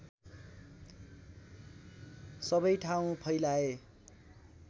सबै ठाउँ फैलाए